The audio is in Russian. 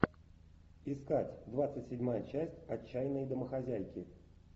искать двадцать седьмая часть отчаянные домохозяйки